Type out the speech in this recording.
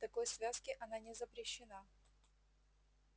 в такой связке она не запрещена